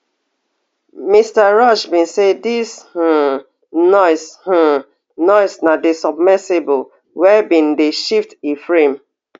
mr rush bin say dis um noise um noise na di submersible wey dey shift e frame